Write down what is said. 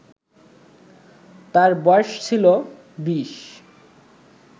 তার বয়স ছিলো বিশ